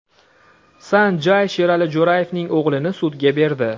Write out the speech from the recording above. San Jay Sherali Jo‘rayevning o‘g‘lini sudga berdi.